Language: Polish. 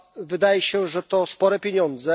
Wydaje się, że to spore pieniądze.